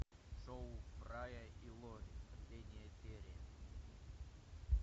шоу фрая и лори последняя серия